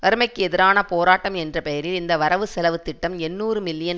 வறுமைக்கு எதிரான போராட்டம் என்ற பெயரில் இந்த வரவு செலவு திட்டம் எண்ணூறு மில்லியன்